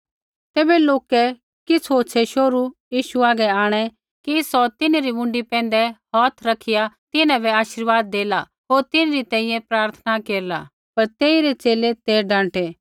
तैबै लोकै किछ़ होछ़ै शोहरू यीशु हागै आंणै कि सौ तिन्हरी मुँडी पैंधै हौथ रखिया तिन्हां बै आशीर्वाद देला होर तिन्हरी तैंईंयैं प्रार्थना केरला पर तेइरै च़ेले ते डाँटै